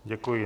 Děkuji.